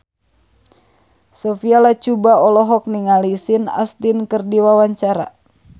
Sophia Latjuba olohok ningali Sean Astin keur diwawancara